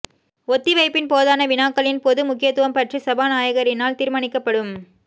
ஒத்திவைப்பின் போதான வினாக்களின் பொது முக்கியத்துவம் பற்றி சபாநாயகரினால் தீர்மானிக்கப்படும்